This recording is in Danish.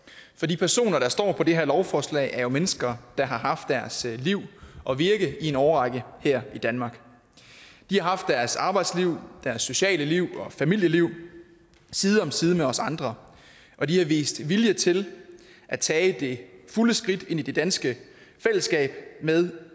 for de personer der står på det her lovforslag er jo mennesker der har haft deres liv og virke i en årrække her i danmark de har haft deres arbejdsliv deres sociale liv og familieliv side om side med os andre og de har vist vilje til at tage det fulde skridt ind i det danske fællesskab med